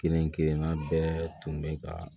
Kelen kelenna bɛɛ tun bɛ ka